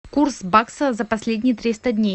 курс бакса за последние триста дней